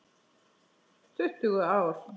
Tuttugu ár!